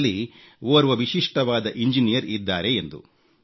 ನಮ್ಮಲ್ಲಿ ಓರ್ವ ವಿಶಿಷ್ಟವಾದ ಇಂಜಿನಿಯರ್ ಇದ್ದಾರೆ ಎಂದು